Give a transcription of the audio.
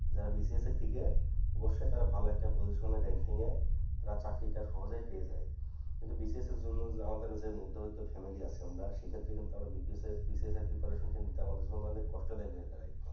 যারা BCS এ টিকে অবশ্যই তারা ভালো একটা position এ ranking এ যায় তার চাকরি টা সহজেই পেয়ে যায় কিন্তু BCS এর জন্য যে মাধ্যবিত্ত family আছে আমরা সে ক্ষেত্রে কিন্তু আমরা BCS এর BCS এর preparation কিন্তু আমাদের জন্য অনেক কষ্ট দায়ক হয়ে দাঁড়ায়